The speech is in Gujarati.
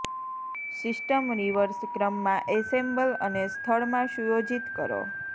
સિસ્ટમ રિવર્સ ક્રમમાં એસેમ્બલ અને સ્થળ માં સુયોજિત કરો